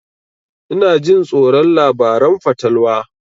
Ina jin tsoron labaran fatalwa